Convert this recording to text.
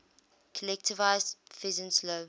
collectivized peasants low